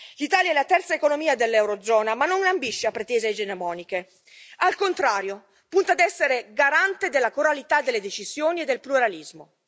L'Italia è la terza economia dell'eurozona, ma non ambisce a pretese egemoniche, al contrario punta ad essere garante della coralità delle decisioni e del pluralismo.